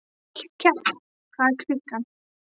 Hallkell, hvað er klukkan?